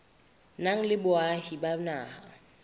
nang le boahi ba naha